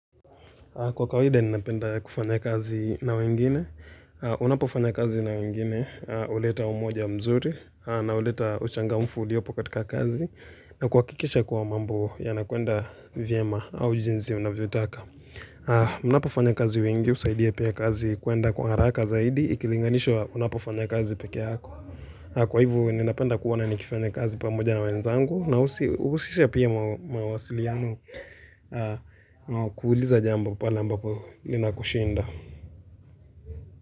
Kwa kawaida, ninapenda kufanya kazi na wengine. Unapofanya kazi na wengine, huleta umoja mzuri, na huleta uchangamfu uliopo katika kazi, na kuhakikisha kuwa mambo yanakuenda vyema au jinsi unavyotaka. Unapofanya kazi wengi, husaidia pia kazi kuenda kwa haraka zaidi, ikilinganishwa unapofanya kazi peke yako. Kwa hivyo, ninapenda kuoana nikifanya kazi pamoja na wenzangu, na husisha pia mawasiliano kuuliza jambo pale ambapo ninakushinda.